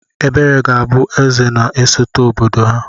Ebere ga-abụ Eze na-esote obodo ha..